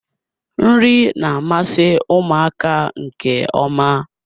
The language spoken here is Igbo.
Nri na-amasị ụmụaka nke ọma.